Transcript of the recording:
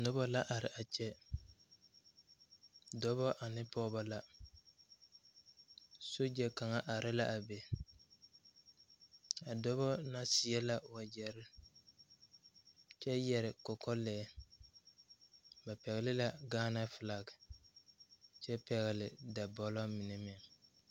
Nobɔ la are a kyɛ dɔbɔ ane pɔɔbɔ la sogyɛ kaŋa are la a be a dɔbɔ na seɛ la wagyɛrre kyɛ yɛre kɔkɔlɛɛ ba pɛgle la gaana flak kyɛ pɛgle dabɔlɔ mine meŋ.